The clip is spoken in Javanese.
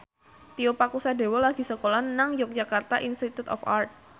Tio Pakusadewo lagi sekolah nang Yogyakarta Institute of Art